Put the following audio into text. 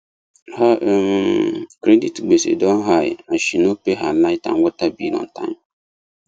her um credit gbese don high as she no pay her light and water bill on time